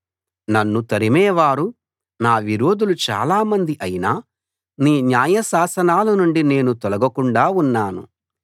నన్ను తరిమేవారు నా విరోధులు చాలా మంది అయినా నీ న్యాయశాసనాలనుండి నేను తొలగకుండా ఉన్నాను